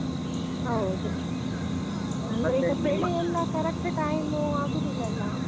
ಹೌದು. ಅಂದ್ರೆ ಈಗ ಬೆಳೆಯಲ್ಲ correct time ಆಗುದಿಲಲ್ಲ?